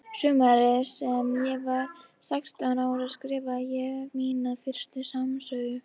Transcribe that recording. Sumarið sem ég var sextán ára skrifaði ég mína fyrstu smásögu.